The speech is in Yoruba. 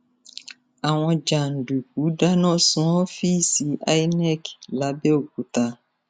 àwọn jàǹdùkú dáná sun ọfíìsì inec làbẹọkúta